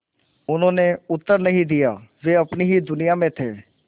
उन्होंने उत्तर नहीं दिया वे अपनी ही दुनिया में थे